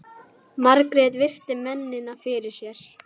Margrét virti mennina fyrir sér.